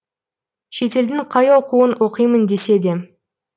шетелдің қай оқуын оқимын десе де